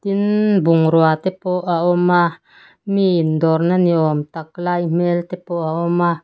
tin bungrua te pawh a awm a mi indawrna ni awm tak lai hmel te pawh a awm a.